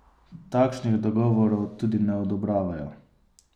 Takšnih dogovorov tudi ne odobravajo.